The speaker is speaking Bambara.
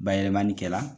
Bayɛlɛmani kɛla